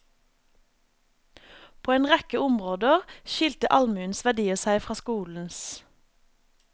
På en rekke områder skilte allmuenes verdier seg fra skolens.